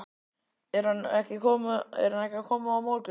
Er hann ekki að koma á morgun?